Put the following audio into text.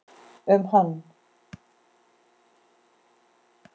um hann.